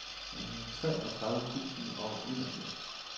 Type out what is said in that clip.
treogtredive tusind og enogfirs